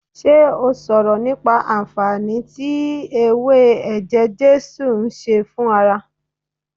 Ṣé ó sọ̀rọ̀ nípa anfaani tí ewé eje jesu ń ṣe fún ara